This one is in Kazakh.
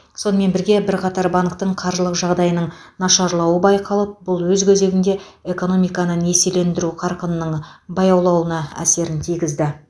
сонымен бірге бірқатар банктің қаржылық жағдайының нашарауы байқалып бұл өз кезегінде экономиканы несиелендіру қарқынының баяулауына әсерін тигізді